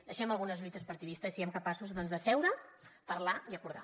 deixem algunes lluites partidistes i siguem capaços doncs de seure parlar i acordar